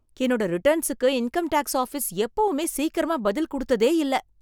என்னோட ரிட்டர்ன்ஸுக்கு income tax office எப்போவுமே சீக்கிரமா பதில் குடுத்ததே இல்ல.